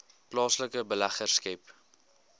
plaaslike beleggers skep